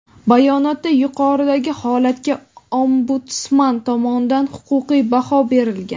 bayonotda yuqoridagi holatga Ombudsman tomonidan huquqiy baho berilgan:.